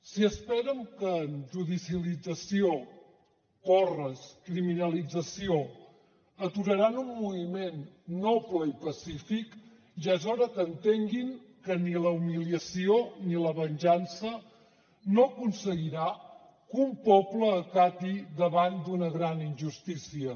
si esperen que amb judicalització porres criminalització aturaran un moviment noble i pacífic ja és hora que entenguin que ni la humiliació ni la venjança no aconseguiran que un poble acati davant d’una gran injustícia